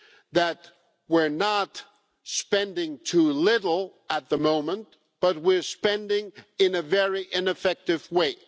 that we're not spending too little at the moment, but we are spending in a very ineffective way.